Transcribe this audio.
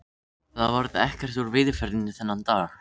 Það varð ekkert úr veiðiferðinni þennan dag.